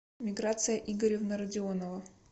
миграция игоревна радионова